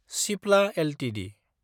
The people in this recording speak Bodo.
सिप्ला एलटिडि